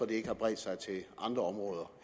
det ikke har bredt sig til andre områder